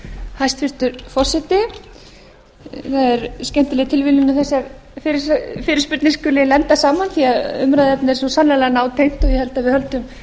hæstvirtur forseti það er skemmtileg tilviljun að þessar fyrirspurnir skuli nefndar saman því umræðuefnið er svo sannarlega nátengt ég held að við